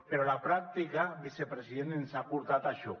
però la pràctica vicepresident ens ha portat a això